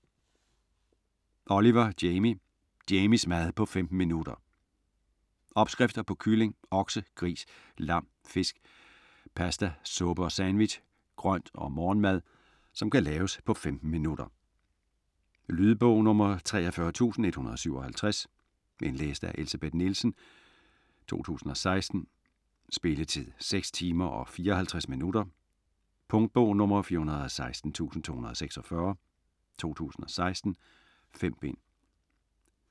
Oliver, Jamie: Jamies mad på 15 minutter Opskrifter på kylling, okse, gris, lam, fisk, paste, suppe & sandwich, grønt og morgenmad, som kan laves på 15 minutter. Lydbog 43157 Indlæst af Elsebeth Nielsen, 2016. Spilletid: 6 timer, 54 minutter. Punktbog 416246 2016. 5 bind.